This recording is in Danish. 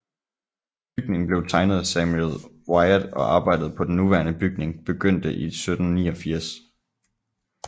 Bygningen blev tegnet af Samuel Wyatt og arbejdet på den nuværende bygning begyndte i 1789